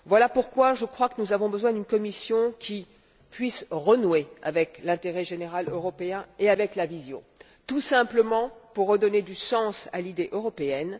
Voilà pourquoi je crois que nous avons besoin d'une Commission qui puisse renouer avec l'intérêt général européen et avec la vision, tout simplement pour redonner du sens à l'idée européenne.